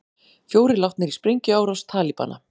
Fjórir látnir í sprengjuárás Talibana